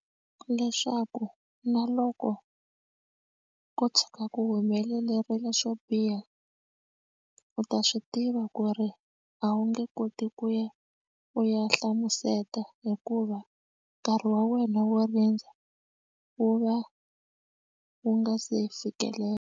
Leswaku na loko ko tshuka ku humelerile swo biha u ta swi tiva ku ri a wu nge koti ku ya u ya hlamuseta hikuva nkarhi wa wena wo rindza wu va wu nga se fikelela.